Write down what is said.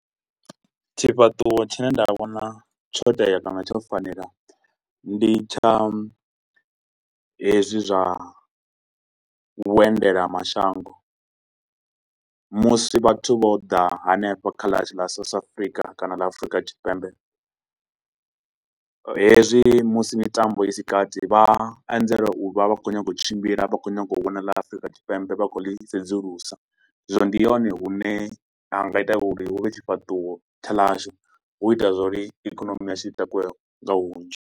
Tshifhaṱuwo tshi ne nda vhona tsho tea kana tsho fanela ndi tsha hezwi zwa vhuendela mashango musi vhathu vho da hanefha kha ḽa South Africa kana ḽa Afrika Tshipembe hezwi musi mitambo i si kati vha anzela u vha vha kho u nyaga u tshimbila vha kho u nyaga u vhona ḽa Afrika Tshipembe vha kho u ḽi sedzulusa zwino ndi hone hune ha nga ita uri hu vhe tshifhaṱuwo hu ita zwa uri ikonomi yashu i takuwe nga hunzhi.